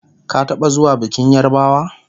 ka taɓa zuwa bikin yarbawa?